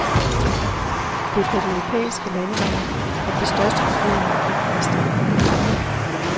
Det er på de europæiske landeveje at det største forbrug af energi finder sted.